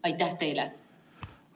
Aitäh teile!